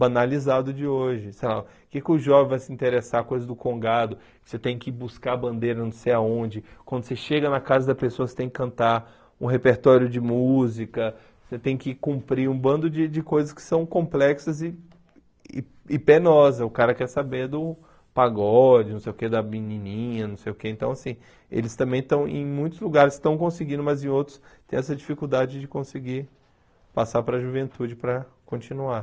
banalizado de hoje sei lá o que que o jovem vai se interessar, coisa do congado você tem que buscar bandeira não sei aonde, quando você chega na casa da pessoa você tem que cantar um repertório de música, você tem que cumprir um bando de de coisas que são complexas e e e penosa, o cara quer saber do pagode, não sei o que, da menininha não sei o que, então assim, eles também estão em muitos lugares, estão conseguindo mas em outros tem essa dificuldade de conseguir passar para juventude para continuar